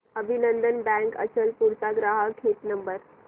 अभिनंदन बँक अचलपूर चा ग्राहक हित नंबर